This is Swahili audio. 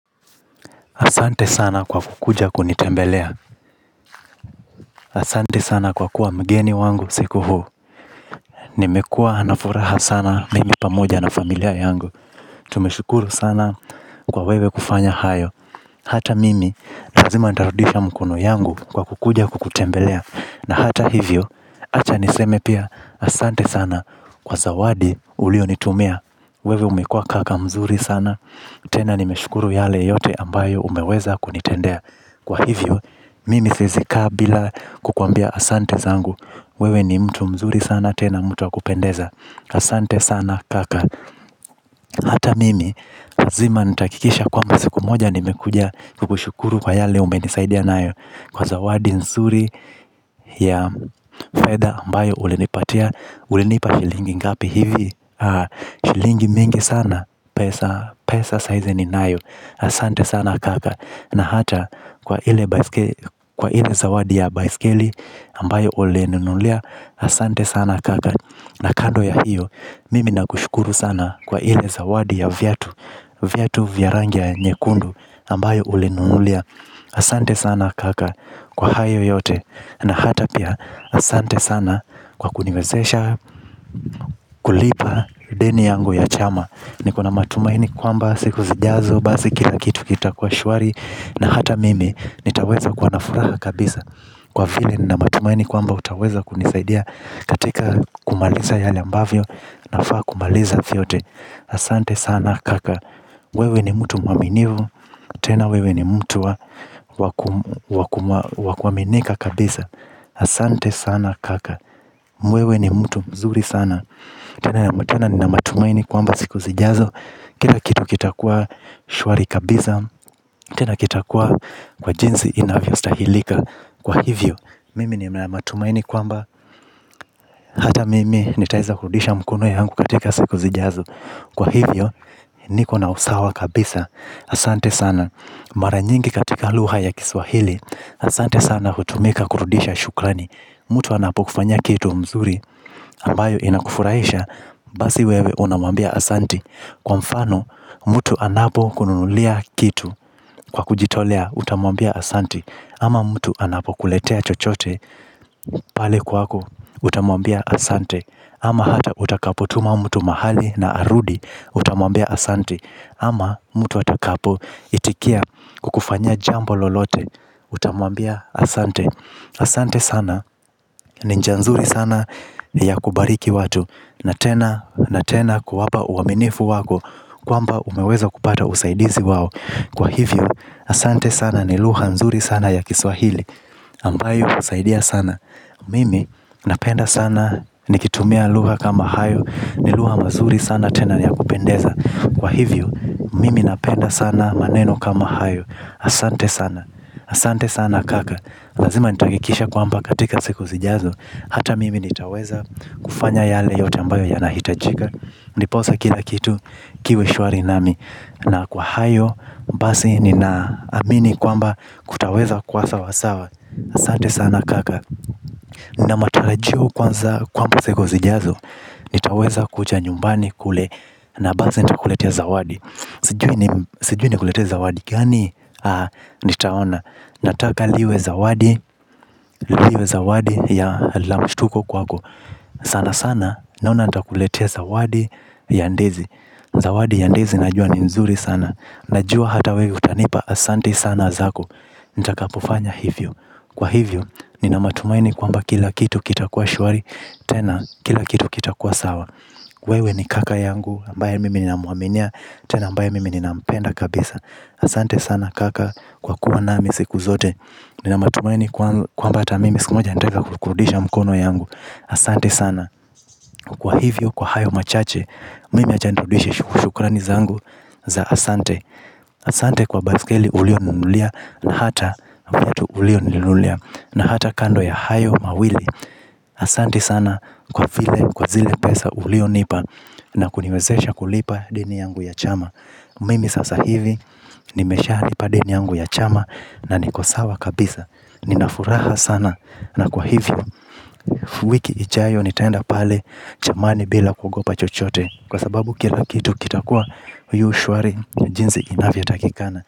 Asante sana kwa kukuja kunitembelea. Asante sana kwa kuwa mgeni wangu siku huu. Nimekuwa na furaha sana mimi pamoja na familia yangu. Tumeshukuru sana kwa wewe kufanya hayo. Hata mimi lazima nitarudisha mkono yangu kwa kukuja kukutembelea. Na hata hivyo acha niseme pia asante sana kwa zawadi ulionitumia. Wewe umekuwa kaka mzuri sana. Tena nimeshukuru yale yote ambayo umeweza kunitendea. Kwa hivyo, mimi siwezi kaa bila kukuambia asante zangu. Wewe ni mtu mzuri sana tena mtu wa kupendeza. Asante sana kaka. Hata mimi, lazima nitahakikisha kwamba siku moja nimekuja kukushukuru kwa yale umenisaidia nayo. Kwa zawadi nzuri ya fedha ambayo ulinipatia ulinipa shilingi ngapi hivi. Shilingi mingi sana, pesa sahizi ninayo. Asante sana kaka na hata kwa ile zawadi ya baiskeli ambayo ulininunulia asante sana kaka na kando ya hiyo mimi nakushukuru sana kwa ile zawadi ya viatu. Viatu vya rangi ya nyekundu ambayo ulininunulia asante sana kaka kwa hayo yote na hata pia asante sana kwa kuniwezesha kulipa deni yangu ya chama. Nikona matumaini kwamba siku zijazo basi kila kitu kitakuwa shwari na hata mimi nitaweza kuwa na furaha kabisa kwa vile nina matumaini kwamba utaweza kunisaidia katika kumaliza yale ambavyo nafaa kumaliza vyote asante sana kaka wewe ni mtu mwaminifu. Tena wewe ni mtu wa kuaminika kabisa. Asante sana kaka. Wewe ni mtu mzuri sana. Tena nina matumaini kwamba siku zijazo kila kitu kitakuwa shwari kabisa. Tena kitakuwa kwa jinsi inavyostahilika. Kwa hivyo, mimi nina matumaini kwamba hata mimi nitaweza kurudisha mkono yangu katika siku zijazo. Kwa hivyo, niko na usawa kabisa. Asante sana, mara nyingi katika lugha ya kiswahili. Asante sana hutumika kurudisha shukrani. Mtu anapokufanyia kitu mzuri ambayo inakufurahisha. Basi wewe unamwambia asante. Kwa mfano, mtu anapokunulia kitu. Kwa kujitolea utamwambia asante. Ama mtu anapokuletea chochote. Pale kwako utamwambia asante. Ama hata utakapotuma mtu mahali na arudi. Utamwambia asante. Ama mtu atakapoitikia kukufanyia jambo lolote. Utamwambia asante. Asante sana, ni njia nzuri sana ni ya kubariki watu. Na tena, na tena kuwapa uaminifu wako kwamba umeweza kupata usaidizi wao. Kwa hivyo, asante sana ni lugha mzuri sana ya kiswahili ambayo inasaidia sana. Mimi napenda sana nikitumia lugha kama hayo. Ni lugha mazuri sana tena ya kupendeza. Kwa hivyo, mimi napenda sana maneno kama hayo. Asante sana, asante sana kaka. Lazima nitahakikisha kwamba katika siku zijazo hata mimi nitaweza kufanya yale yote ambayo yanahitajika. Ndiposa kila kitu kiwe shwari nami. Na kwa hayo, basi ninaamini kwamba kutaweza kwa sawasawa asate sana kaka. Na matarajio kwanza kwamba siku zijazo nitaweza kuja nyumbani kule. Na basi nitakuletea zawadi. Sijui nikuletee zawadi gani nitaona. Nataka liwe zawadi, liwe zawadi la mshtuko kwako. Sana sana, naona nitakuletea zawadi ya ndizi. Zawadi ya ndizi najua ni mzuri sana. Najua hata wewe utanipa asante sana zako. Nitakapofanya hivyo. Kwa hivyo nina matumaini kwamba kila kitu kitakuwa shwari. Tena kila kitu kitakuwa sawa. Wewe ni kaka yangu ambaye mimi namwaminia. Tena ambaye mimi ninampenda kabisa. Asante sana kaka kwa kuwa nami siku zote. Nina matumaini kwamba hata mimi siku moja nitaweza kuridisha mkono yangu. Asante sana. Kwa hivyo kwa hayo machache. Mimi wacha nirudishe shukurani zangu za asante. Asante kwa baskeli ulioninunulia na hata viatu ulioninunulia. Na hata kando ya hayo mawili. Asante sana kwa vile kwa zile pesa ulionipa. Na kuniwezesha kulipa deni yangu ya chama. Mimi sasa hivi nimeshalipa deni yangu ya chama. Na niko sawa kabisa. Nina furaha sana. Na kwa hivyo wiki ijayo nitaenda pale. Chamani bila kugopa chochote. Kwa sababu kila kitu kitakuwa yu shwari na jinsi inavyotakikana.